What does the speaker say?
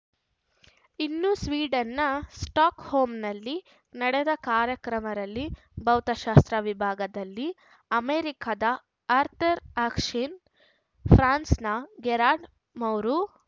ಇನ್ನು ಸ್ವೀಡನ್‌ನ ಸ್ಟಾಕ್‌ಹೋಮ್‌ನಲ್ಲಿ ನಡೆದ ಕಾರ್ಯಕ್ರಮರಲ್ಲಿ ಭೌತಶಾಸ್ತ್ರ ವಿಭಾಗದಲ್ಲಿ ಅಮೆರಿಕದ ಆರ್ಥರ್‌ ಅಶ್ಕಿನ್‌ ಫ್ರಾನ್ಸ್‌ನ ಗೆರಾರ್ಡ್‌ ಮೌರು